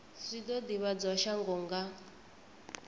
zwi o ivhadzwa shango nga